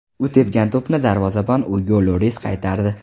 U tepgan to‘pni darvozabon Ugo Lyoris qaytardi.